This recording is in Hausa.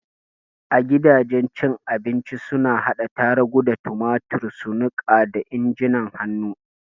A gidajen cin abinci suna hada tarugu da tumatur su niƙa da injin hannu.